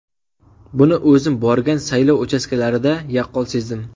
Buni o‘zim borgan saylov uchastkalarida yaqqol sezdim.